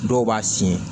Dɔw b'a fin